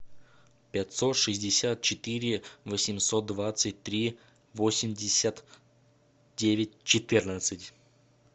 пятьсот шестьдесят четыре восемьсот двадцать три восемьдесят девять четырнадцать